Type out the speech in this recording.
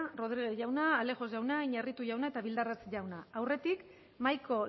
rodríguez jauna alejos jauna iñarritu jauna eta bildarratz jauna aurretik mahaiko